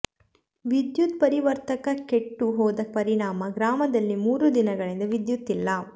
ವಿದ್ಯುತ್ ಪರಿವರ್ತಕ ಕೆಟ್ಟು ಹೋದ ಪರಿಣಾಮ ಗ್ರಾಮದಲ್ಲಿ ಮೂರು ದಿನಗಳಿಂದ ವಿದ್ಯುತ್ ಇಲ್ಲ